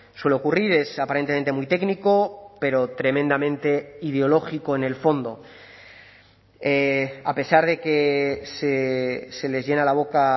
suele ocurrir es aparentemente muy técnico pero tremendamente ideológico en el fondo a pesar de que se les llena la boca